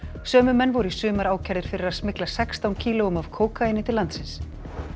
sömu menn voru í sumar ákærðir fyrir að smygla sextán kílóum af kókaíni til landsins